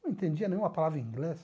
Não entendia nenhuma palavra em inglês.